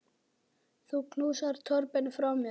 Þú knúsar Torben frá mér.